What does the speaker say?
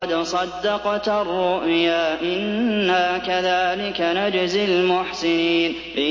قَدْ صَدَّقْتَ الرُّؤْيَا ۚ إِنَّا كَذَٰلِكَ نَجْزِي الْمُحْسِنِينَ